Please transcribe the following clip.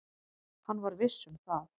Hann var viss um það.